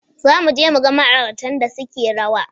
Za mu je mu ga ma'auratan da suke rawa.